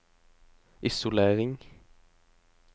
isolering